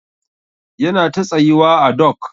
Yana ta tsayuwa à dok.